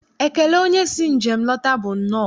Ekele onye si njem lọta bụ nnọọ.